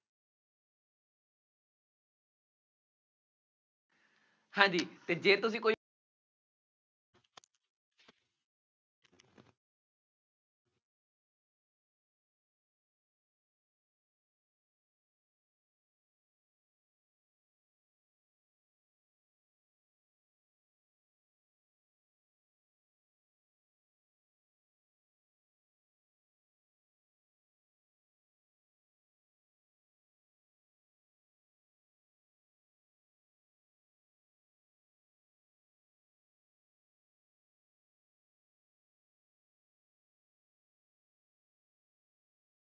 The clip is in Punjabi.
ਹਾਂਜੀ ਜੇ ਤੁਸੀਂ ਕੋਈ